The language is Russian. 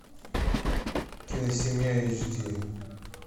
киносемья эйч ди